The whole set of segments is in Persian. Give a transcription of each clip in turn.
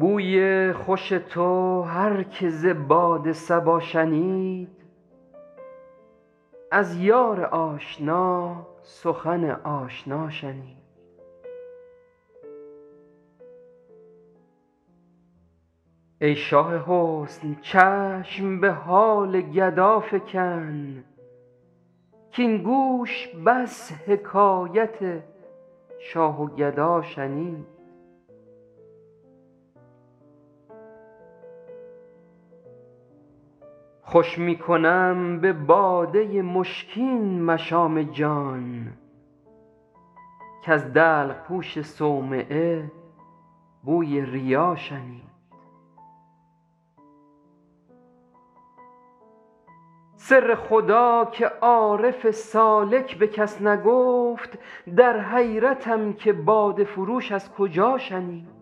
بوی خوش تو هر که ز باد صبا شنید از یار آشنا سخن آشنا شنید ای شاه حسن چشم به حال گدا فکن کـاین گوش بس حکایت شاه و گدا شنید خوش می کنم به باده مشکین مشام جان کز دلق پوش صومعه بوی ریا شنید سر خدا که عارف سالک به کس نگفت در حیرتم که باده فروش از کجا شنید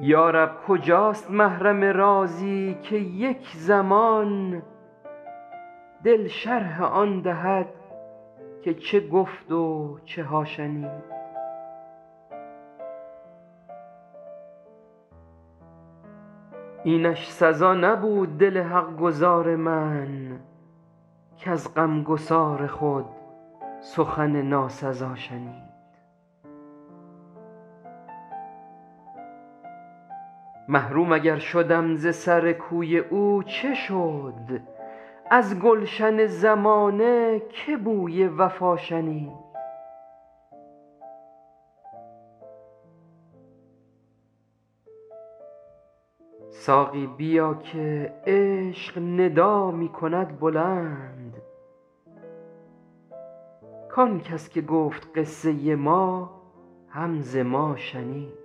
یا رب کجاست محرم رازی که یک زمان دل شرح آن دهد که چه گفت و چه ها شنید اینش سزا نبود دل حق گزار من کز غمگسار خود سخن ناسزا شنید محروم اگر شدم ز سر کوی او چه شد از گلشن زمانه که بوی وفا شنید ساقی بیا که عشق ندا می کند بلند کان کس که گفت قصه ما هم ز ما شنید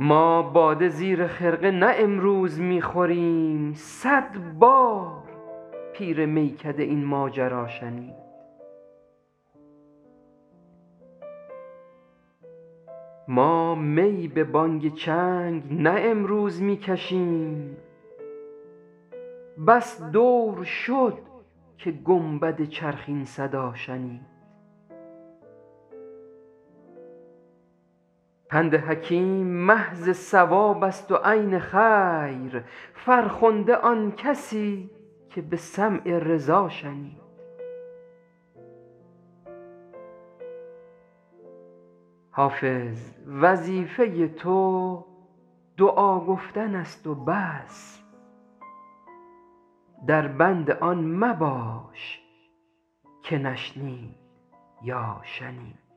ما باده زیر خرقه نه امروز می خوریم صد بار پیر میکده این ماجرا شنید ما می به بانگ چنگ نه امروز می کشیم بس دور شد که گنبد چرخ این صدا شنید پند حکیم محض صواب است و عین خیر فرخنده آن کسی که به سمع رضا شنید حافظ وظیفه تو دعا گفتن است و بس در بند آن مباش که نشنید یا شنید